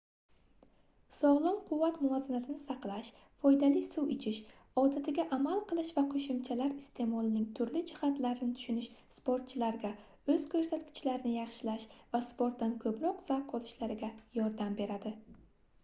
sogʻlom quvvat muvozanatini saqlash foydali suv ichish odatiga amal qilish va qoʻshimchalar isteʼmolining turli jihatlarini tushunish sportchilarga oʻz koʻrsatkichlarini yaxshilash va sportdan koʻproq zavq olishlariga yordam beradi